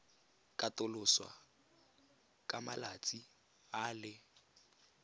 katoloswa ka malatsi a le